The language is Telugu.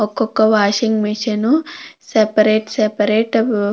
ఒక్కొక్క వాషింగ్ మిషన్ సపరేట్ సపరేట్ --